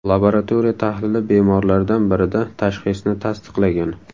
Laboratoriya tahlili bemorlardan birida tashxisni tasdiqlagan.